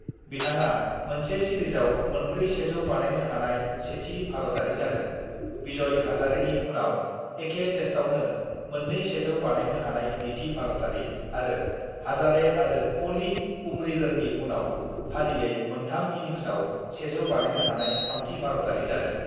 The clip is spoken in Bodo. "बिथांआ मोनसे सिरिजआव मोनब्रै सेजौ बानायनो हानाय सेथि भारताअरि जादों, विजय हजारेनि उनाव एखे तेस्तावनो मोननै सेजौ बानायनो हानाय नैथि भारतारि, आरो हजारे आरो प'लि उमरिगोरनि उनाव फारियै मोनथाम इन्निंसआव सेजौ बानायनो हानाय थामथि भारतारि जादों।"